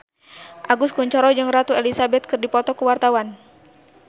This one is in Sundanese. Agus Kuncoro jeung Ratu Elizabeth keur dipoto ku wartawan